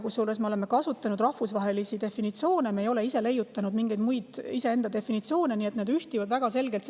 Kusjuures me oleme kasutanud rahvusvahelisi definitsioone, me ei ole leiutanud ise mingeid muid definitsioone, nii et need ühtivad nendega väga selgelt.